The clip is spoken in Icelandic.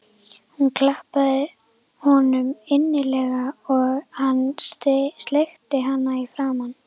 Hún klappaði honum innilega og hann sleikti hana í framan.